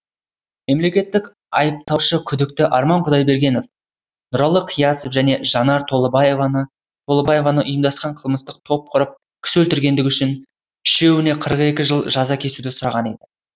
мемлекеттік айыптаушы күдікті арман құдайбергенов нұралы қиясов және жанар толыбаеваны ұйымдасқан қылмыстық топ құрып кісі өлтіргендігі үшін үшеуіне қырық екі жыл жаза кесуді сұраған еді